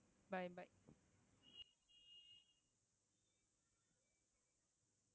bye bye